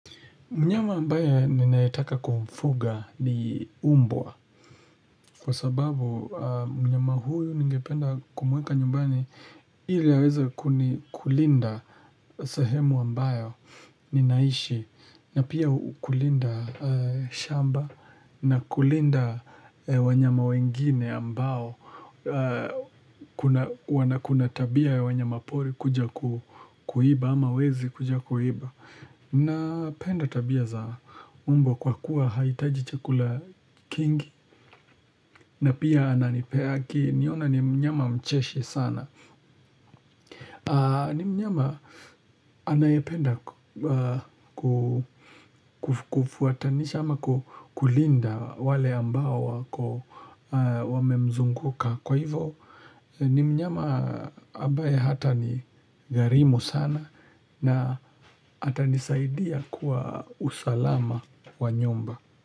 Mnyama ambaye ninayetaka kumfuga ni umbwa Kwa sababu mnyama huyu ningependa kumuweka nyumbani ili aweze kuni kulinda sehemu ambayo ninaishi na pia kulinda shamba na kulinda wanyama wengine ambao Kuna wana kuna tabia ya wanyama pori kuja kuiba ama wezi kuja kuiba Napenda tabia za umbwa kwa kuwa haihitaji chakula kingi na pia ananipe akiniona ni mnyama mcheshi sana ni mnyama anayependa kufuatanisha ama kulinda wale ambao wako wame mzunguka kwa hivo ni mnyama ambaye hata ni gharimu sana na atanisaidia kwa usalama wa nyumba.